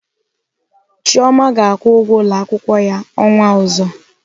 Chioma ga-akwụ ụgwọ ụlọakwụkwọ ya ọnwa ọzọ.